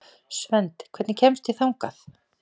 Svend, hvernig kemst ég þangað?